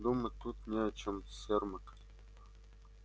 думать тут не о чем сермак